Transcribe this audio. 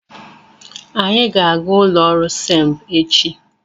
Anyị ga-aga ụlọ ọrụ SEMB echi.